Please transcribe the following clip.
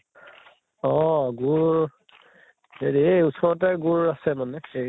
অহ গুড় হেৰি য়ে ওচৰতে গুড় আছে মানে এই